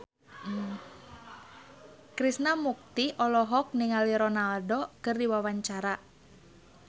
Krishna Mukti olohok ningali Ronaldo keur diwawancara